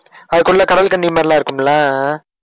அதுக்குள்ள கடல் கன்னி மாதிரி எல்லாம் இருக்குமில்ல?